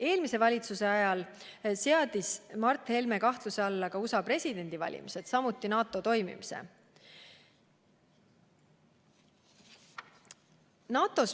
Eelmise valitsuse ajal seadis Mart Helme kahtluse alla USA presidendivalimised, samuti NATO toimimise.